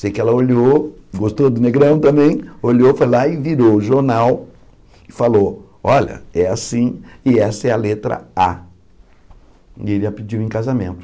Sei que ela olhou, gostou do negrão também, olhou, foi lá e virou o jornal e falou, olha, é assim e essa é a letra á. E ele a pediu em casamento.